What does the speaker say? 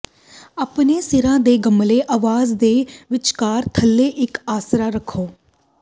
ਆਪਣੇ ਸਿਰਾਂ ਦੇ ਗਮਲੇ ਆਵਾਜ਼ ਦੇ ਵਿਚਕਾਰ ਥੱਲੇ ਇਕ ਆਸਰਾ ਰੱਖੋ